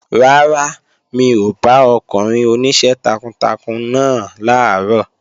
Rárá, mi ò bá ọkùnrin oníṣẹ́ takuntakun náà làárọ̀